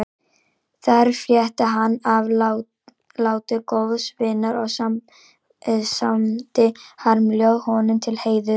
Þar frétti hann af láti góðs vinar og samdi harmljóð honum til heiðurs.